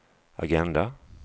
agenda